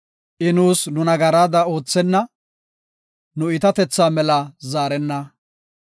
I nuus nu nagaraada oothenna; nu iitatethaa mela zaarenna.